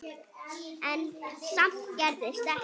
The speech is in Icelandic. En samt gerðist ekkert.